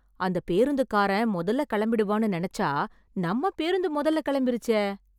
அந்த பேருந்துக்காரன் மொதல்ல கெளம்பிடுவான்னு நெனச்சா, நம்ம பேருந்து மொதல்ல கெளம்பிருச்சே...